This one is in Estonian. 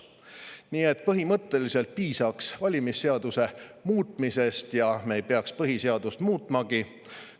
Nii et põhimõtteliselt piisaks valimisseaduse muutmisest ja me ei peaks põhiseadust muutmagi.